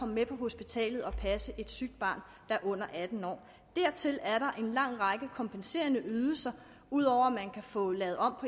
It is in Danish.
med på hospitalet og passe et sygt barn under atten år dertil er der en lang række kompenserende ydelser ud over at man kan få lavet om